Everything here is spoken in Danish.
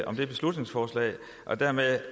om det beslutningsforslag og dermed